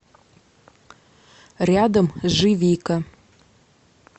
рядом живика